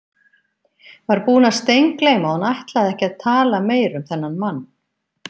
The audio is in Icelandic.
Var búin að steingleyma að hún ætlaði ekki að tala meira um þennan mann.